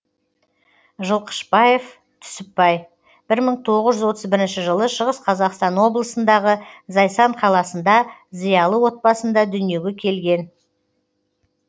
жылқышыбаев түсіпбай бір мың тоғыз жүз отыз бірінші жылы шығыс қазақстан облысындағы зайсан қаласында зиялы отбасында дүниеге келген